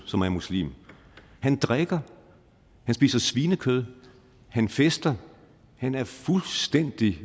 som er muslim han drikker han spiser svinekød han fester han er fuldstændig